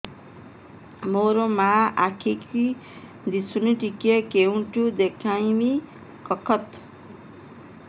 ମୋ ମା ର ଆଖି କି ଦିସୁନି ଟିକେ କେଉଁଠି ଦେଖେଇମି କଖତ